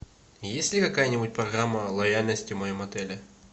есть ли какая нибудь программа лояльности в моем отеле